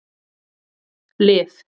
Liv